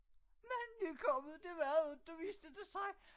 Men nykommet det var det inte viste det sig